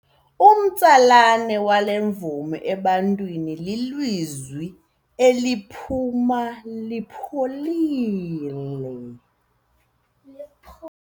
Umtsalane wale mvumi ebantwini lilizwi layo eliphuma lipholile.